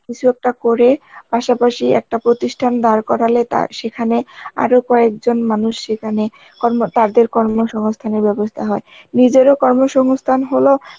কিছু একটা করে পাশাপাশি একটা প্রতিষ্ঠান দাঁড় করালে তার সেখানে আরো কয়েকজন মানুষ সেখানে কর্ম তাদের কর্মসংস্থানের ব্যবস্থা হয়, নিজেরও কর্মসংস্থান হল